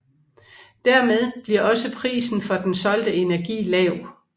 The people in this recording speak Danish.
Dermed bliver også prisen for den solgte energi lav